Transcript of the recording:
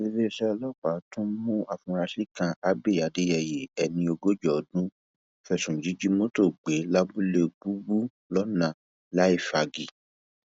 iléeṣẹ ọlọpàá tún mú àfúrásì kan abbey adéyẹyẹ ẹni ogójì ọdún fẹsùn jíjí mọtò gbé lábúlé gbúgbú lọnà láfíàgì